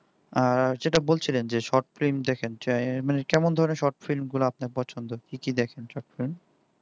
আহ যেটা বলছিলেন যে শর্ট ফিল্ম দেখেনযে কেমন দেখেন মানে কেমন ধরনের shortflim গুলা আপনার পছন্দ কি কি দেখেন shortflim